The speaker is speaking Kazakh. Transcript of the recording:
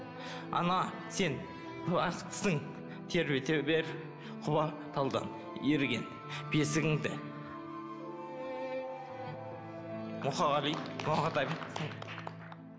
ана сен бақыттысың тербете бер құла талдан иірген бесігіңді мұқағали мақатаев